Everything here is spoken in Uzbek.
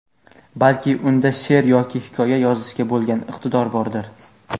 Balki unda she’r yoki hikoya yozishga bo‘lgan iqtidor bordir?.